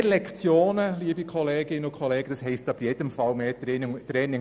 Mehr Lektionen heisst aber auf jeden Fall mehr Training.